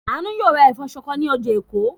Àánú yóò ra ẹ̀fọ́ ṣọkọ ní ọjà Èkó.